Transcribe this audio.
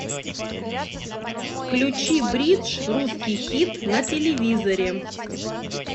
включи бридж русский хит на телевизоре